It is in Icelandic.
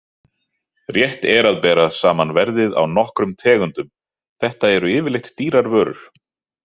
Rétt er að bera saman verðið á nokkrum tegundum, þetta eru yfirleitt dýrar vörur.